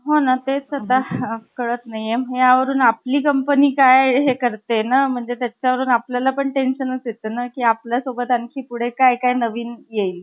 की सागरनी काय केले तर त्याने मिस्तुबिशी company मध्ये job ला होता तो. आणि त्याचा मला phone आला की रवी मला तुला भेटायचे आहे. आता वर्गमित्र असल्यामुळे त्याला लगेच appointment दिली आणि म्हटलं ये सागर